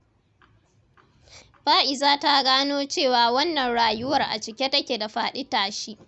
Fa’iza ta gano cewa wannan rayuwar a cike take da faɗi-tashi.